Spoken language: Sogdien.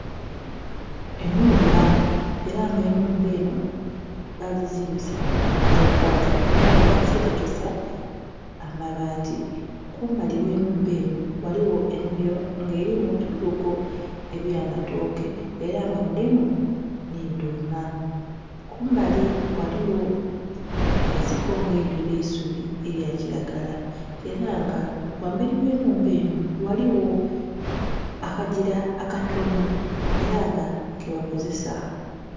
Enhumba, era nga enhumba enho bagizimbisa matafali era nga bagiserekesa amabaati, kumbali ogh'enhumba enho ghaligho enhimiro nga erimu ebigogo ebyamatooke era nga mulimu nhi dhuma. Kumbali ghaligho ensiko nga eidwire eisubi elya kilagala era nga ghambali gh'enhumba enho ghaligho akagira akatono era nga kebakozesa.